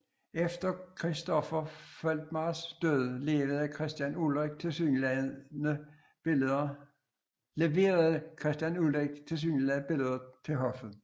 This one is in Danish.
Efter Christopher Foltmars død leverede Christian Ulrik tilsyneladende billeder til hoffet